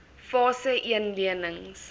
fase een lenings